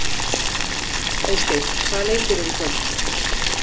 Eysteinn, hvaða leikir eru í kvöld?